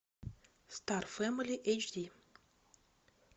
стар фэмили эйч ди